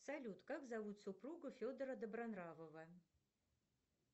салют как зовут супругу федора добронравова